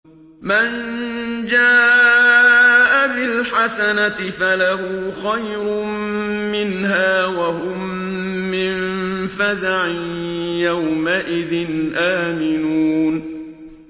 مَن جَاءَ بِالْحَسَنَةِ فَلَهُ خَيْرٌ مِّنْهَا وَهُم مِّن فَزَعٍ يَوْمَئِذٍ آمِنُونَ